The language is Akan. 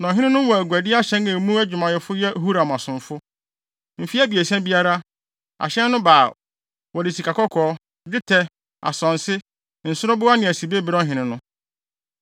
Na ɔhene no wɔ aguadi ahyɛn a emu adwumayɛfo yɛ Huram asomfo. Mfe abiɛsa biara, ahyɛn no ba a, wɔde sikakɔkɔɔ, dwetɛ, asonse, nsoroboa ne asibe brɛ ɔhene no.